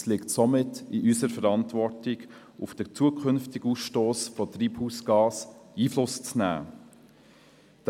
Somit liegt es in unserer Verantwortung, auf den zukünftigen Ausstoss von Treibhausgasen Einfluss zu nehmen.